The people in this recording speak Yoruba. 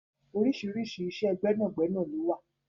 Oríṣiríṣi iṣẹ́ gbẹ́nàgbẹnà lówà.